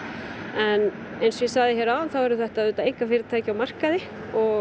en eins og ég sagði hér áðan þá eru þetta einkafyrirtæki á markaði